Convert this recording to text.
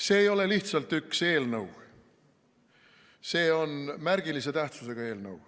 See ei ole lihtsalt üks eelnõu, see on märgilise tähtsusega eelnõu.